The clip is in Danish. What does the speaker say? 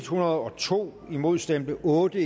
hundrede og to imod stemte otte